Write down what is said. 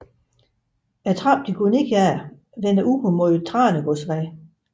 Trappen de går ned af vender ud mod Tranegårdsvej